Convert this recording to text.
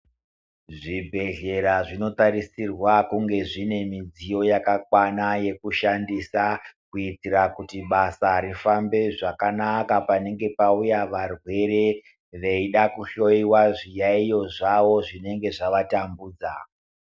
Zvibhehlera zvinotarisirwa kunge zvine mudziyo yakakwana yekushandisa kuitira kuti basa rifambe zvakanaka panenge pauya varwere veida kuhloyiwa zviyayiyo zvavo zvinenge zvavatambudza.